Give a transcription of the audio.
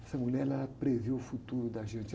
Essa mulher, ela prevê o futuro da gente.